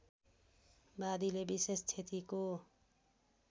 वादीले विशेष क्षतिको